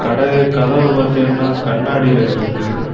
கட கதவ பாத்தீங்கன்னா கண்ணாடில இருக்கு.